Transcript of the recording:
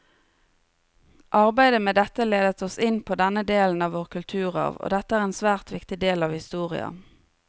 Arbeidet med dette ledet oss inn på denne delen av vår kulturarv, og dette er en svært viktig del av historia.